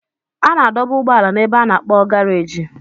A na-adọba ụgbọala n'ebe a na-akp garagi